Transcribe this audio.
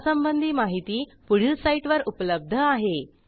यासंबंधी माहिती पुढील साईटवर उपलब्ध आहे